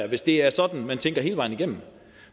hvis det er sådan man tænker hele vejen igennem